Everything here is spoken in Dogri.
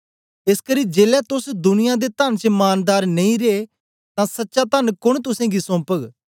एसकरी जेलै तोस दुनिया दे तन च मानदार नेई रे तां सच्चा तन कोन तुसेंगी सोम्पग